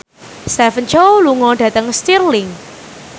Stephen Chow lunga dhateng Stirling